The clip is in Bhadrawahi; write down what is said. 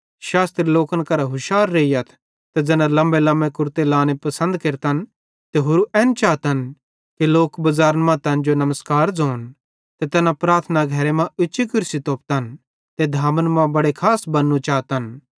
शास्त्री लोकन करां हुशार रेइयथ तैना लम्मेलम्मे कुरते लांने पसंद केरतन ते होरू एन चातन कि लोक बज़ारन मां तैन जो नमस्कार ज़ोन ते तैना प्रार्थना घरे मां उच्ची कुर्सी तोपतन ते धामन मां बड़े खास बन्नू चातन